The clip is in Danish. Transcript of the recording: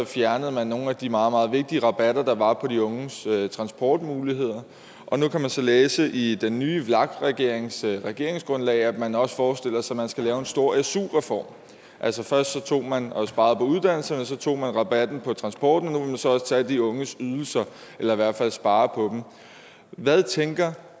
fjernede man nogle af de meget meget vigtige rabatter der var på de unges transport og nu kan vi så læse i den nye vlak regerings regeringsgrundlag at man også forestiller sig at man skal lave en stor su reform altså først tog man og sparede på uddannelserne og så tog man rabatten på transporten og nu så også tage de unges ydelser eller i hvert fald spare på dem hvad tænker